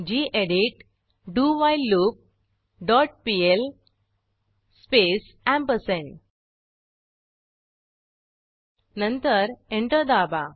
गेडीत डोव्हिलेलूप dot PL space ampersand नंतर enter दाबा